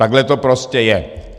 Takhle to prostě je.